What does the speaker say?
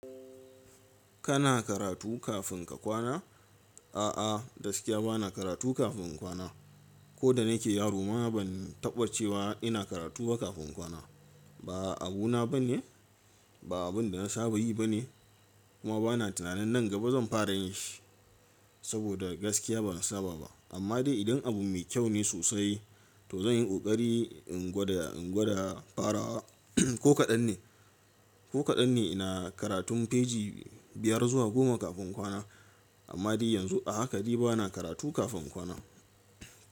Kana karatu kafin ka kwana? A'a, gaskiya ba na karatu kafin kwana. Ko da nake yaro ma ban taɓa cewa ina karatu ba kafin inyi kwana. Ba abu na bane, ba abun da na saba yi bane kuma ba na tunanin nan gaba zan fara yin shi saboda gaskiya ban saba ba. Amma dai idan abu mai kyau ne sosai to zan yi ƙoƙari in gwada, in gwada farawa ko kaɗan ne. Ko kaɗan ne ina karatun faei biyar zuwa goma kafin inyi kwana. Amma dai yanzu a haka dai ba na karatu kafin kwana.